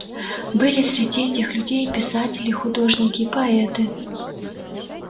были среди этих людей и писатели художники поэты